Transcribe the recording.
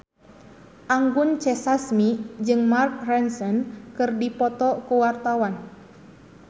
Anggun C. Sasmi jeung Mark Ronson keur dipoto ku wartawan